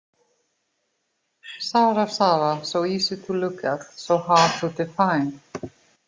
Sara, Sara, So easy to look at, so hard to define.